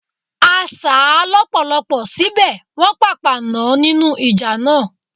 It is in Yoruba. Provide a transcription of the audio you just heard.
A sà á lọ́pọ̀lọpọ̀ síbẹ̀, Wọ́n pàpà nàn án nínú ìjà náà.